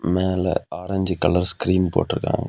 மேல orange colour screen போட்டருக்காங்--